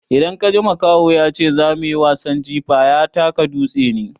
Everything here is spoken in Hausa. Idan kaji makaho ya ce zo muyi wasan jifa, ya taka dutse ne.